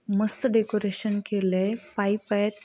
मस्त डेकोरेशन केलय पाइप आहेत.